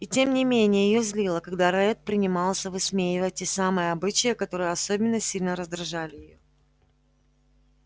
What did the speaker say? и тем не менее её злило когда ретт принимался высмеивать те самые обычаи которые особенно сильно раздражали её